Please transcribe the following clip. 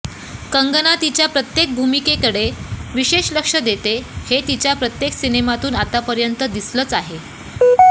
कंगना तिच्या प्रत्येक भूमिकेकडे विशेष लक्ष देते हे तिच्या प्रत्येक सिनेमातून आतापर्यंत दिसलंच आहे